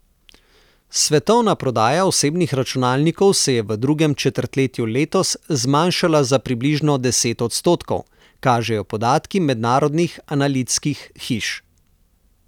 Svetovna prodaja osebnih računalnikov se je v drugem četrtletju letos zmanjšala za približno deset odstotkov, kažejo podatki mednarodnih analitskih hiš.